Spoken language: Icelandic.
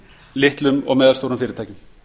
litlum og meðalstórum fyrirtækjum